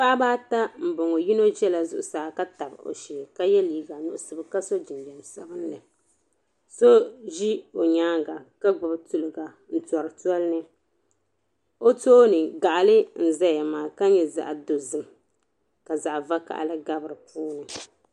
Paɣiba ata m-bɔŋɔ. Yino zala zuɣusaa ka tabi o shee ka ye liiga nuɣiso ka so jinjam sabilinli. So ʒi o nyaaŋga ka gbibi tiliga n-tɔri toli ni. O tooni gaɣili n-zaɣ' maa ka nyɛ zaɣ' dozim ka zaɣ' vakahili gabi di puuni.